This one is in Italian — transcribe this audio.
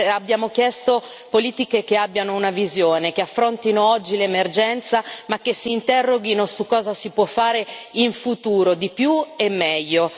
Abbiamo chiesto politiche che abbiano una visione, che affrontino oggi l'emergenza, ma che si interroghino su cosa si può fare in futuro, di più e meglio.